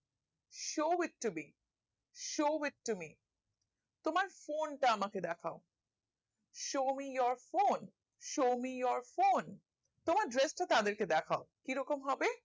show ইত্যাদি show with me তোমার phone টা আমাকে দেখাও show me your phone show me your phone তোমার dress টা তাদের কে দ্যাখাও কি রকম হবে